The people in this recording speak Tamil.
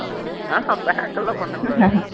pack எல்லாம் பண்ண முடியாது